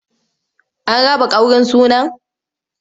An raba ƙaurin sunan?